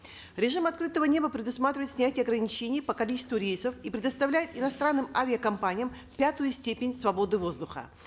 режим открытого неба предусматривает снятие ограничений по количеству рейсов и предоставляет иностранным авиакомпаниям пятую степень свободы воздуха